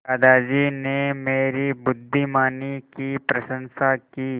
दादाजी ने मेरी बुद्धिमानी की प्रशंसा की